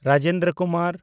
Rajendra Kumar